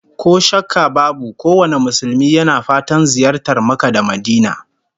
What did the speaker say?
Ko shakka babu kowane Musulmi yana fatan ziyartar Makka da Madinah